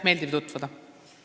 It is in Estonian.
Meeldiv tutvuda!